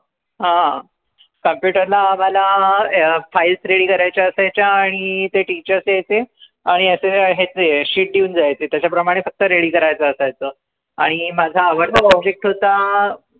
हं computer न आम्हाला अं files ready करायच्या असायच्या आणि ते teacher ते हे ते आणि याचे हे ते sheet देऊन जायचे त्याच्या प्रमाणे फक्त ready करायचं असायचं आणि माझा आवडता subject होता.